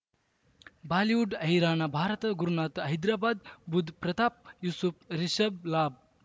Bollywood ಹೈರಾಣ ಭಾರತ ಗುರುನಾಥ ಹೈದರಾಬಾದ್ ಬುಧ್ ಪ್ರತಾಪ್ ಯೂಸುಫ್ ರಿಷಬ್ ಲಾಬ್